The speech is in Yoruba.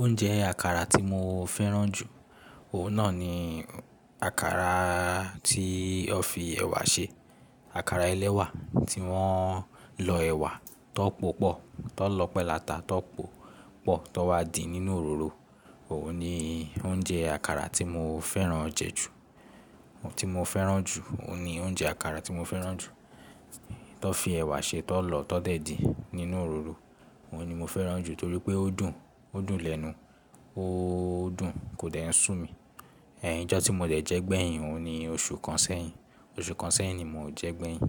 Oúnjẹ àkàrà tí mo fẹ́ràn jù, òun náà ni àkàrà tí wọ́n fi ẹ̀wà ṣe. Àkàrà ẹlẹ́wà tí wọ́n lọ ẹ̀wà tó pòpọ̀, tó lọ́pẹ́ lata, tó pòpọ̀, tó wá di nínú òróró. Òun ni oúnjẹ àkàrà tí mo fẹ́ràn je jù, tí mo fẹ́ràn jù, òun ni oúnjẹ àkàrà tí mo fẹ́ràn jù. To n fi ẹ̀wà ṣe tọ́ lọ, tọ́ dẹ̀ din nínú òróró. Òun ni mo fẹ́ràn jù torí pé ó dùn, ó dùn lẹ́nu, ó dùn kò dẹ̀ n ṣù mí. Ẹ̀hn ijọ́ tí mo dẹ̀ jẹ gbẹ̀yìn, òun ni oṣù kan sẹ́yìn. Oṣù kan sẹ́yìn ni mò jẹ gbẹ̀yìn.